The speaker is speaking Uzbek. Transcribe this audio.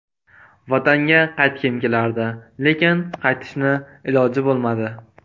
Vatanga qaytgim kelardi, lekin qaytishni iloji bo‘lmadi.